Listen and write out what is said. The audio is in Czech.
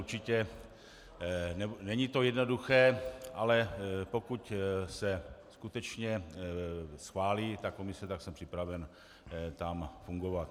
Určitě není to jednoduché, ale pokud se skutečně schválí ta komise, tak jsem připraven tam fungovat.